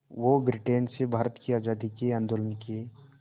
वो ब्रिटेन से भारत की आज़ादी के आंदोलन के